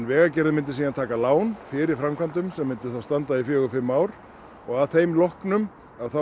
Vegagerðin myndi síðan taka lán fyrir framkvæmdum sem myndu þá standa í fjögur til fimm ár og að þeim loknum